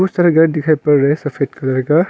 बहुत सारे घर दिखाई पड़ रहा है सफेद कलर का।